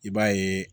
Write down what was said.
I b'a yeee